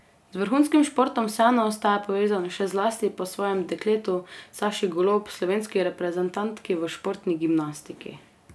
Z vrhunskim športom vseeno ostaja povezan, še zlasti po svojem dekletu, Saši Golob, slovenski reprezentantki v športni gimnastiki.